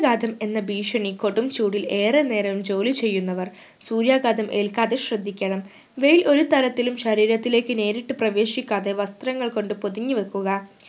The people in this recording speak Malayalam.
ഘാതം എന്ന ഭീഷണി കൊടും ചൂടിൽ ഏറെ നേരം ജോലി ചെയ്യുന്നവർ സൂര്യാഘാതം ഏൽക്കാതെ ശ്രധിക്കണം വെയിൽ ഒരു തരത്തിലും ശരീരത്തിലേക്ക് നേരിട്ട് പ്രവേശിക്കാതെ വസ്ത്രങ്ങൾ കൊണ്ട് പൊതിഞ്ഞു വെക്കുക